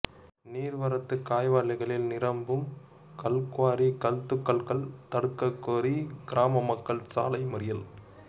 ஏரி நீா்வரத்துக் கால்வாய்களில் நிரம்பும் கல்குவாரி கல்துகள்கள் தடுக்கக் கோரி கிராம மக்கள் சாலை மறியல்